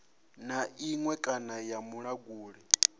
na iṅwe kana ya vhulanguli